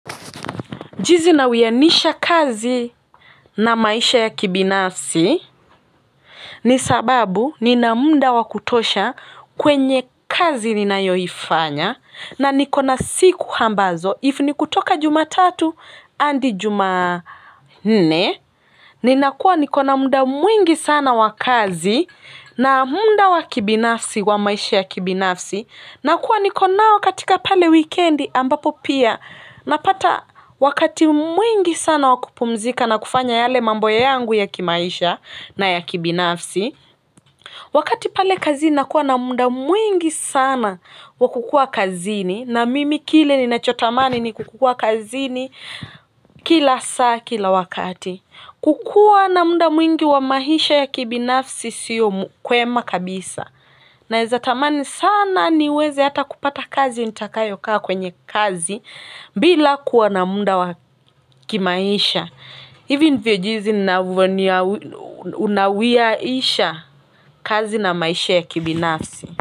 Juzi na wianisha kazi na maisha ya kibinafsi ni sababu nina muda wa kutosha kwenye kazi ninayoifanya na niko na siku ambazo if ni kutoka jumatatu hadi juma nne ni nakuwa nikona muda mwingi sana wa kazi na muda wa kibinafsi wa maisha ya kibinafsi. Nakua nikonao katika pale wikendi ambapo pia napata wakati mwingi sana wa kupumzika na kufanya yale mambo ya yangu ya kimaisha na ya kibinafsi. Wakati pale kazini nakuwa na muda mwingi sana wakukua kazini na mimi kile ninachotamani ni kukua kazini kila saa kila wakati. Kukua na muda mwingi wa maisha ya kibinafsi sio kwema kabisa naweza tamani sana niweze hata kupata kazi nitakayo kwa kwenye kazi bila kuwa na muda wa kimaisha hivi ndivyo jinsi unawiaisha kazi na maisha ya kibinafsi.